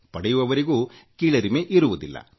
ಪಡೆಯುವವರಿಗೂ ಕೀಳರಿಮೆ ಇರುವುದಿಲ್ಲ